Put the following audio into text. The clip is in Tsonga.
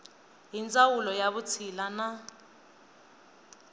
hi ndzawulo ya vutshila na